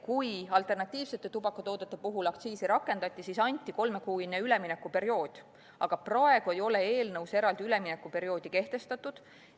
Kui alternatiivsete tubakatoodete puhul aktsiisi rakendati, siis anti kolmekuine üleminekuperiood, aga praegu ei ole eelnõus eraldi üleminekuperioodi kehtestatud.